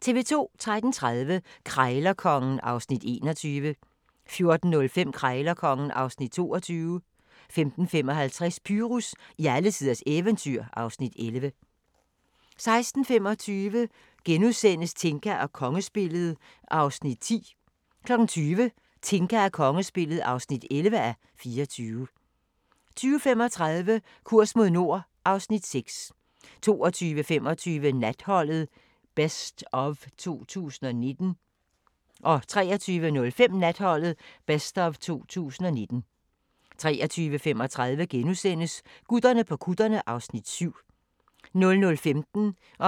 13:30: Krejlerkongen (Afs. 21) 14:05: Krejlerkongen (Afs. 22) 15:55: Pyrus i alletiders eventyr (Afs. 11) 16:25: Tinka og kongespillet (10:24)* 20:00: Tinka og kongespillet (11:24) 20:35: Kurs mod nord (Afs. 6) 22:25: Natholdet - best of 2019 23:05: Natholdet - best of 2019 23:35: Gutterne på kutterne (Afs. 7)* 00:15: Grænsepatruljen